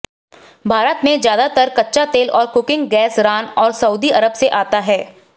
भारत में ज्यादातर कच्चा तेल और कुकिंग गैस रान और सऊदी अरब से आता है